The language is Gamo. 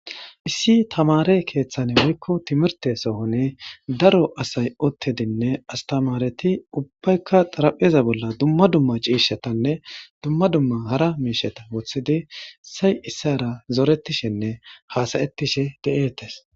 Issi tamare kethan woyko timrte sohoni daro asay utidinne asitamareti ubbayka xarapheza bolla dumma dumma ciishatanne dumma dumma hara mishata wothid issayi issara ha'ishenne zoretishe de'etes.